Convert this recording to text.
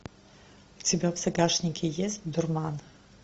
у тебя в загашнике есть дурман